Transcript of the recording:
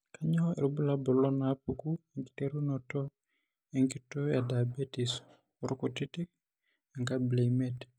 Kainyio irbulabul onaapuku enkiterunoto enkitoo ediabetes oorkutitik, enkabila emiet?